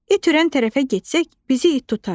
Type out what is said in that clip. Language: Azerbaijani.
İt hürən tərəfə getsək, bizi it tutar.